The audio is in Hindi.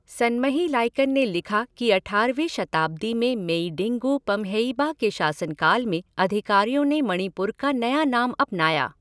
सनमही लाइकन ने लिखा कि अठारहवीं शताब्दी में मेईडिंगु पम्हेइबा के शासनकाल में अधिकारियों ने मणिपुर का नया नाम अपनाया।